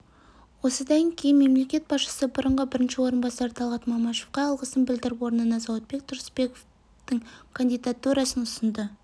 осыдан кейін мемлекет басшысы бұрынғы бірінші орынбасары талғат мамашевқа алғысын білдіріп орнына зауытбек тұрысбековтің кандидатурасын ұсынды